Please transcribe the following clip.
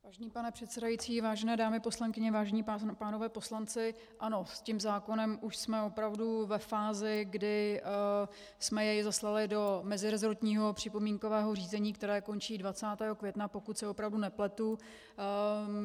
Vážený pane předsedající, vážené dámy poslankyně, vážení pánové poslanci, ano, s tím zákonem už jsme opravdu ve fázi, kdy jsme jej zaslali do meziresortního připomínkového řízení, které končí 20. května, pokud se opravdu nepletu.